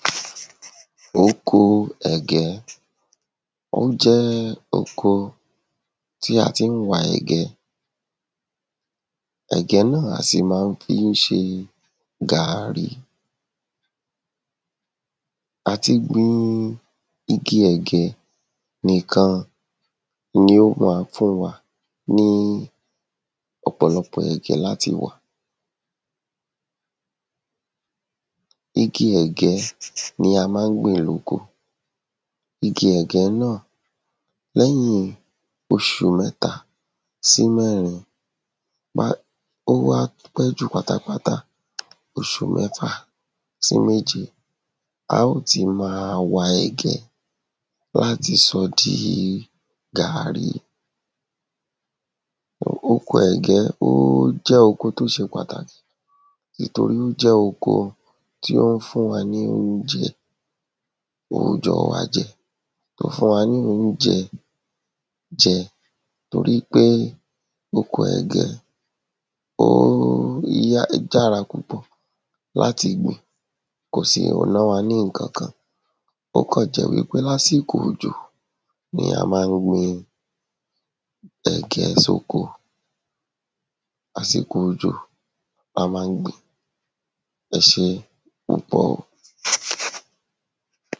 Okoo ẹ̀gẹ́ Ó jẹ́ oko tí a tí ń wa ẹ̀gẹ́ Ẹ̀gẹ́ náà á sì má ń fi ṣe gààrí Àti gbin igi ẹ̀gẹ́ nìkan ni ó ma fún wa ní ọ̀pọ̀lọpọ̀ ẹ̀gẹ́ láti wà Igi ẹ̀gẹ́ ni a má ń gbìn lóko Igi ẹ̀gẹ́ náà lẹ́yìn oṣù mẹ́ta sí mẹ́rin ó wá pẹ́ jù pátápátá oşù mẹ́fà sí méje a óò ti ma wa ẹ̀gẹ́ láti sọọ́ di gààrí Oko ẹ̀gẹ́ ó jẹ́ oko tí ó ṣe Pàtàkì ìtorí ó jẹ́ oko tí ó ń fún wa ní onjẹ òòjọ́ wa jẹ Ó fún wa ní oujẹ jẹ torípé oko ẹ̀gẹ́ óó um yára púpọ̀ láti gbìn kò sì ná wa ní nǹkankan Ó kàn jẹ́ wípé lásìkò òjò ni a má ń gbin ẹ̀gẹ́ sóko Àsìkò òjò lamá ń gbìn-ín Ẹ ṣée púpọ̀ o